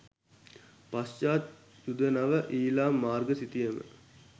පශ්චාත් යුද නව ඊළාම් මාර්ග සිතියම